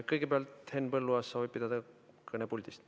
Kõigepealt soovib Henn Põlluaas pidada kõne puldist.